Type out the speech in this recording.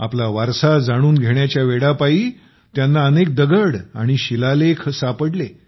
आपला वारसा जाणून घेण्याच्या वेडापायी त्यांना अनेक दगड आणि शिलालेख सापडले